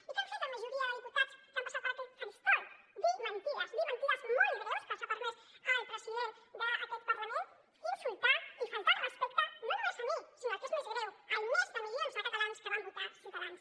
i què han fet la majoria de diputats que han passat per aquest faristol dir mentides dir mentides molt greus que els ha permès el president d’aquest parlament insultar i faltar al respecte no només a mi sinó el que és més greu als més d’un milió de catalans que van votar ciutadans